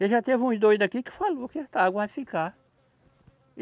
E já teve uns doido aqui que falou que essa água vai ficar.